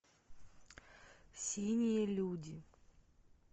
синие люди